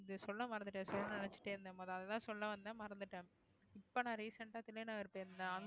இதை சொல்ல மறந்துட்டேன் சொல்ல நினைச்சிட்டே இருந்தேன் பாரு அதைத்தான் சொல்ல வந்தேன் மறந்துட்டேன் இப்ப நான் recent ஆ போயிருந்தேன்